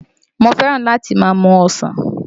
Mo fẹ́ràn láti máa mu ọsàn